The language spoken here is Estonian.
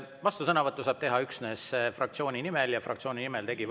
Vastusõnavõttu saab teha üksnes fraktsiooni nimel ja fraktsiooni nimel tegi …